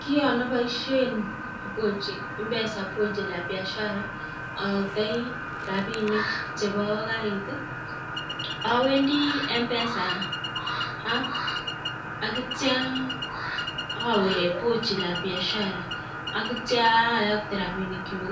Kiyon aboishen mpesa pochi la biashara, ayoktoi rapinik chepo karit, awendi mpesa app aneitio awe pochi la biasha akitio ayokte rapinikchuk